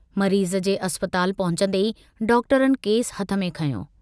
मरीज़ जे अस्पताल पहुचन्दे ई डॉक्टरनि केसु हथ में खंयो।